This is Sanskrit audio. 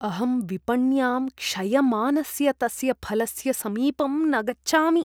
अहं विपण्यां क्षयमानस्य तस्य फलस्य समीपं न गच्छामि।